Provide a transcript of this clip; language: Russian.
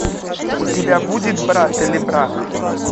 у тебя будет брат или брак